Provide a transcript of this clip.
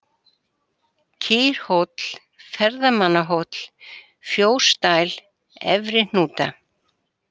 Kýrhóll, Ferðamannahóll, Fjósdæl, Efrihnúta